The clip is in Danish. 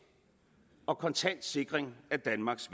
og kontant sikring af danmarks